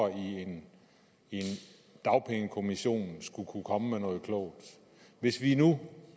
i en dagpengekommission skulle kunne komme med noget klogt hvis vi nu